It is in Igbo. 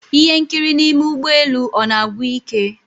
Ihe nkiri n'ime ụgbọ elu ọ na-agwụ ike?